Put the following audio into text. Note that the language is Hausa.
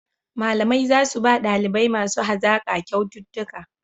Malamai za su ba ɗalibai masu hazaƙa kyaututtuka